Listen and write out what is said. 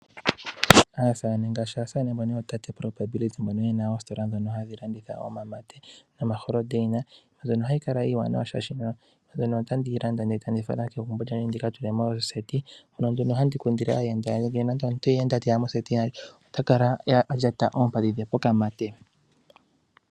Aasamane mbono yena oositola ndhono hadhi landitha omamate nomalapi gopomakende . Mbyono ohayi kala iiwanawa oshoka otandi yi landa eta ndi yi fala kegumbo lyandje . Ndika tule mondunda yokuuhala mono handi kundile aayenda yandje . Opo nande omuyenda teya mo ota kala alyata oompadhi dhe pokamate.